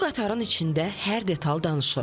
Bu qatarın içində hər detal danışır.